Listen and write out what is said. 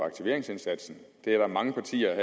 aktiveringsindsatsen der er mange partier